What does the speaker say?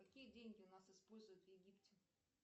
какие деньги у нас используют в египте